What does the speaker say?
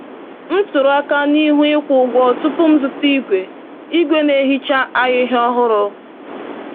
M tụrụ aka n’ihu ịkwụ ụgwọ tupu m zụta igwe igwe na-ehicha ahịhịa ọhụrụ.